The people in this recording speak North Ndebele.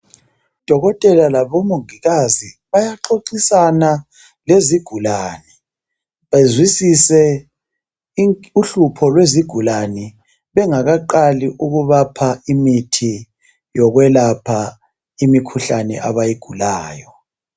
Odokotela labo mongikazi bayaxoxisana lezigulane bezwisise uhlupho lezigulane bengakaqali ukubapha imithi yokwelapha imikhuhlane abayigulayo.